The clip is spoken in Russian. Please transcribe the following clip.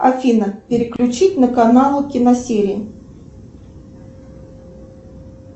афина переключить на канал киносерии